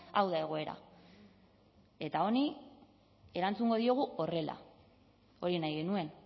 hau da egoera eta honi erantzungo diogu horrela hori nahi genuen